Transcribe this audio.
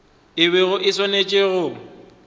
e bego e swanetše go